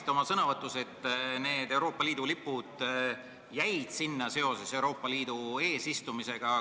Te märkisite, et Euroopa Liidu lipud jäid sinna seoses Euroopa Liidu eesistumisega.